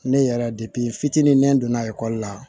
Ne yɛrɛ fitinin ne donna ekɔli la